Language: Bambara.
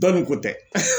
Dɔ ni ko tɛ